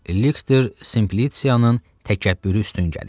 Liktor Simplisianın təkəbbürü üstün gəlir.